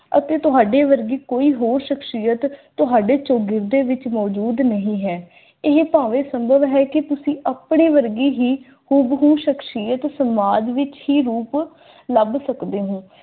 ਅਤੇ ਤੁਹਾਡੇ ਵਰਗੀ ਕੋਈ ਹੋਰ ਸ਼ਖਸੀਅਤ ਤੁਹਾਡੇ ਚੌਗਿਰਦੇ ਵਿੱਚ ਮੌਜੂਦ ਨਹੀਂ ਹੈ ਇਹ ਭਾਵੇਂ ਸੰਭਵ ਹੈ ਕਿ ਤੁਸੀਂ ਆਪਣੇ ਵਰਗੀ ਹੈ ਉਹ ਹੈ ਸ਼ਖ਼ਸੀਅਤ ਸਮਾਜ ਵਿੱਚ ਕੀ ਹੋ ਸਕਦੇ ਹੋ